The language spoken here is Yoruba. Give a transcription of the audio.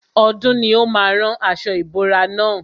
Ọdún ni ó má a rán aṣo ìbora na.